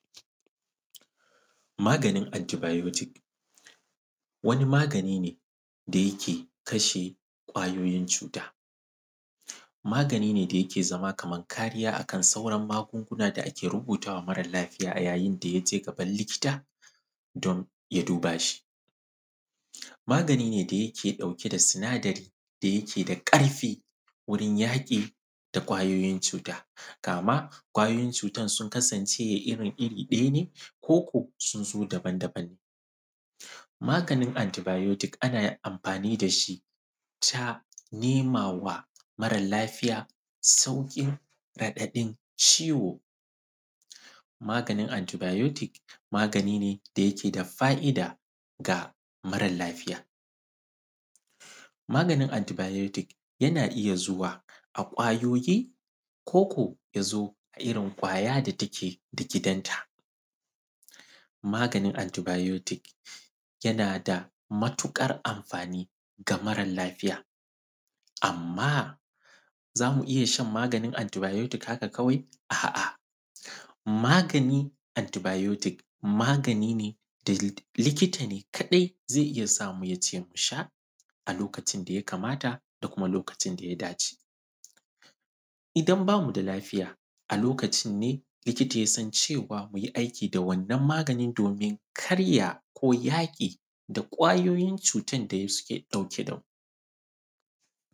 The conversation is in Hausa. Maganin “antibiotic”, wani magani ne da yake kashe ƙwayoyin cuta, magani ne da yake zama kaman kariya a kan sauran magunguna da ake rubuta wa maral lafiya a yayin da ya je gabal likita don ya duba shi. Magani ne da yake ɗauke da sinadari da yake da ƙarfi wurin yaƙi da ƙwayoyin cuta kama ƙwayoyin cutan sun kasance ya irin-iri ɗaya ne, koko sun zo dabandaban ne. Maganin “antibiotic”, ana amfani da shi ta nema wa maral lafiya sauƙin raɗaɗin ciwo. Maganin “antibiotic”, magani ne da yake da fa’ida ga maral lafiya. Maganin “antibiotic”, yana iya zuwa a ƙwayoyi koko ya zo a irin ƙwaya da take da gidanta. Maganin “antibiotic”, yana da matuƙar amfani ga maral lafiya, amma za mu iya shan maganin “antibiotic”, haka kawai? A’a, maganin “antibiotic”, magani ne da li; likita ne kaɗai ze iya sa mu ya ce musha a lokacin da ya kamata da kuma lokacin da ya dace. Idan ba mu da lafiya, a lokacin ne likita ya san cewa mu yi aiki da wannan magani domin kar ya ko yaƙi da ƙwayoyin cutan da ya suke ɗauke da mu.